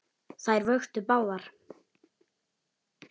Þær vöktu báðar.